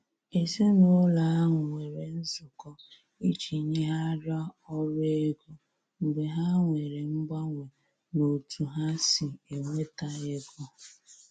Èzìnàụlọ ahụ nwere nzụkọ iji nyèghariá ọrụ ego mgbe ha nwere mganwe n' ọ̀tu ha si enweta ègò.